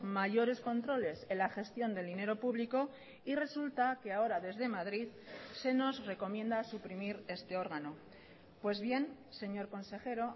mayores controles en la gestión del dinero público y resulta que ahora desde madrid se nos recomienda suprimir este órgano pues bien señor consejero